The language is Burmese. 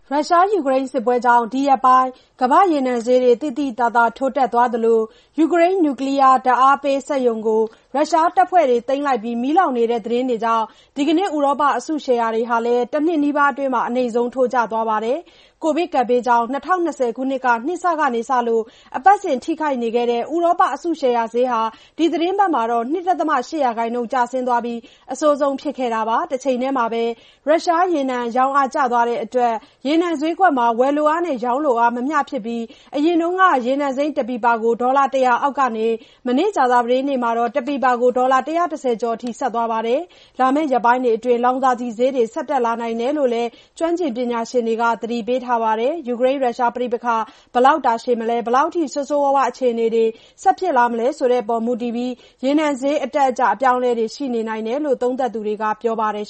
ရုရှား-ယူကရိန်း စစ်ပွဲကြောင့် ဒီရက်ပိုင်း ကမ္ဘာ့ရေနံဈေးတွေ သိသိသာသာ ထိုးတက်သွားသလို ယူကရိန်း နျူကလီးယား ဓါတ်အားပေးစက်ရုံကို ရုရှားတပ်ဖွဲ့တွေ သိမ်းလိုက်ပြီး မီးလောင်နေတဲ့သတင်းတွေကြောင့် ဒီကနေ့ ဥရောပ အစုရှယ်ယာတွေဟာလည်း တနှစ်နီးပါးအတွင်း အနိမ့်ဆုံး ထိုးကျသွားပါတယ်။ ကိုဗစ်ကပ်ဘေးကြောင့် ၂၀၂၀ ခုနှစ် နှစ်စကစလို့ အပတ်စဉ် ထိခိုက်နေခဲ့တဲ့ ဥရောပ အစုရှယ်ယာဈေးဟာ ဒီသီတင်းပတ်မှာတော့ ၂.၈ % အထိ ကျဆင်းသွားခဲ့ပြီး အဆိုးဆုံး ဖြစ်ခဲ့တာပါ။ တချိန်တည်းမှာပဲ ရုရှား ရေနံ ရောင်းအား ကျသွားတဲ့အတွက် ရေနံဈေးကွက်မှာ ဝယ်လိုအားနဲ့ ရောင်းအား မမျှဖြစ်ပြီး အရင်က ရေနံစိမ်းတပီပါကို ဒေါ်လာ ၁၀၀ အောက်ကနေ မနေ့က ကြာသပတေး နေ့မှာတော့ တပီပါကို ဒေါ်လာ ၁၁၀ ကျော်အထိ သွားပါတယ်။ လာမယ့် ရက်ပိုင်းတွေအတွင်း လောင်စာဆီဈေးတွေ ဆက်တက်လာနိုင်တယ်လို့ လည်း ကျွမ်းကျင်ပညာရှင်တွေက သတိပေးထားပါတယ်။ ယူကရိန်း- ရုရှား ပဋိပက္ခ ဘယ်လောက် တာရှည်မလဲ၊ ဘယ်လောက်အထိ ဆိုးဆိုးရွားရွား အခြေအနေတွေ ဆက်ဖြစ်လာမလဲ ဆိုတာအပေါ် မူတည်ပြီး ရေနံဈေး အတက်အကျ အပြောင်းအလဲတွေ ရှိနေနိုင်တယ်လို့ သုံးသပ်သူတွေက ပြောပါတယ်